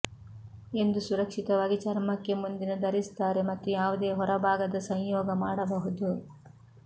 ಎಂದು ಸುರಕ್ಷಿತವಾಗಿ ಚರ್ಮಕ್ಕೆ ಮುಂದಿನ ಧರಿಸುತ್ತಾರೆ ಮತ್ತು ಯಾವುದೇ ಹೊರಭಾಗದ ಸಂಯೋಗ ಮಾಡಬಹುದು